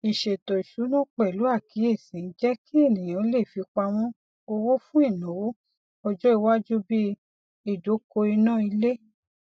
ìṣètò ìsúná pẹlú àkíyèsí ń jẹ kí ènìyàn lè fipamọ owó fún ináwó ọjọ iwájú bíi ìdokoìnà ilé